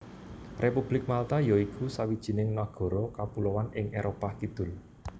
Republik Malta ya iku sawijining nagara kepuloan ing Éropah Kidul